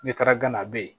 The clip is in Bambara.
N'i taara gana a be yen